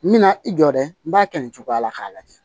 N bɛna i jɔ dɛ n b'a kɛ nin cogoya la k'a lajɛ